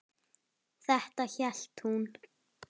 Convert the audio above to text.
Þetta hélt hún.